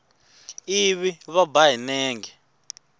ivi va ba hi nenge